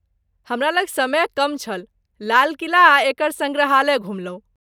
हमरा लग समय कम छल, लाल किला आ एकर सङ्ग्रहालय घुमलहुँ।